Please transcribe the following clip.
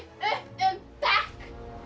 upp um bekk